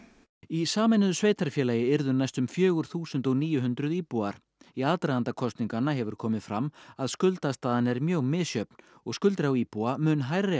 í sameinuðu sveitarfélagi yrðu næstum fjögur þúsund og níu hundruð íbúar í aðdraganda kosninganna hefur komið fram að skuldastaðan er mjög misjöfn og skuldir á íbúa mun hærri